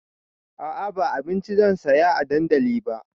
A'a ba abinci zan saya a dandali ba